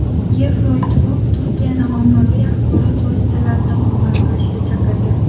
Yevroittifoq Turkiyani ommaviy axborot vositalarini hurmat qilishga chaqirdi.